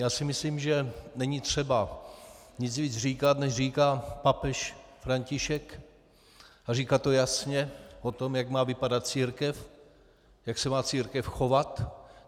Já si myslím, že není třeba nic víc říkat, než říká papež František, a říká to jasně o tom, jak má vypadat církev, jak se má církev chovat.